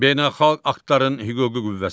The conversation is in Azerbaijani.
Beynəlxalq aktların hüquqi qüvvəsi.